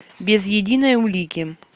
без единой улики